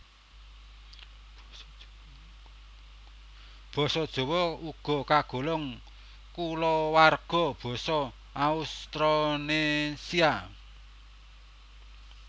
Basa Jawa uga kagolong kulawarga basa Austronésia